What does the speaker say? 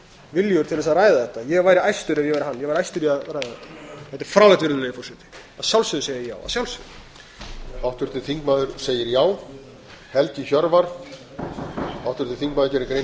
viljugur til þess að ræða þetta ég væri æstur ef ég væri hann ég væri æstur í að ræða þetta þetta er fráleitt virðulegi forseti að sjálfsögðu segi ég já að sjálfsögðu